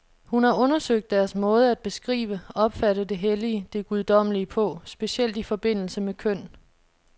Hun har undersøgt deres måde at beskrive, opfatte det hellige, det guddommelige på, specielt i forbindelse med køn.